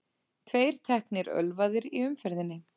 Tveir teknir ölvaðir í umferðinni